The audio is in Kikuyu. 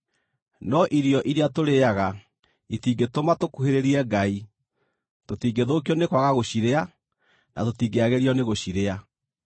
No irio iria tũrĩĩaga itingĩtũma tũkuhĩrĩrie Ngai; tũtingĩthũkio nĩ kwaga gũcirĩa, na tũtingĩagĩrio nĩgũcirĩa.